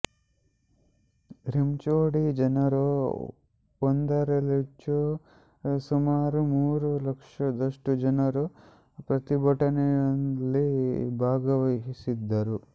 ರಿಂುೋ de Janeiro ಒಂದರಲ್ಲಿಂುೆು ಸುಮಾರು ಮೂರು ಲಕ್ಷದಷ್ಟು ಜನರು ಪ್ರತಿಭಟನೆಂುುಲ್ಲಿ ಭಾಗವಹಿಸಿದ್ದರು